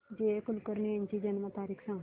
जी A Kulkarni यांची जन्म तारीख सांग